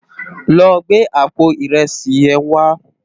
Lò gbé àpó irèsí yèn wá